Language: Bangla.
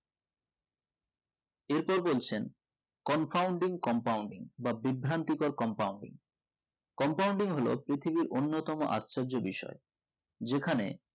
এর পর বলছেন confounding compounding বা বিভ্রান্তিকর compounding হলো পৃথিবীর অন্যতম আশ্চর্য বিষয় যেকানে